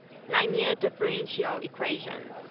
linear differential equations